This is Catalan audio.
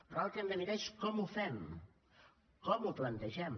però ara el que hem de mirar és com ho fem com ho plantegem